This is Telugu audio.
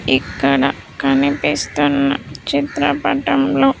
ఇక్కడ కనిపిస్తున్న చిత్రపటంలో.